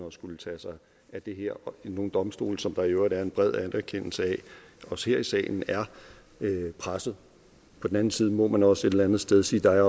at skulle tage sig af det her nogle domstole som der i øvrigt er en bred anerkendelse af også her i salen er pressede på den anden side må man også et eller andet sted sige at